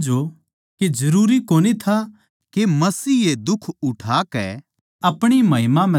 कै जरूरी कोनी था कै मसीह ये दुख उठाकै अपणी महिमा म्ह दाखल हो